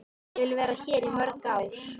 Ég vil vera hér í mörg ár.